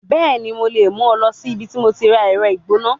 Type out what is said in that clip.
Bẹẹni, Mo le mu ọ lọ si ibiti mo ti ra ẹrọ igbona